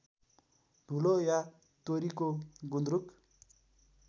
धुलो या तोरीको गुन्द्रुक